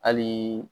Hali